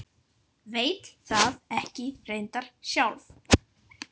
Veit það reyndar ekki sjálf.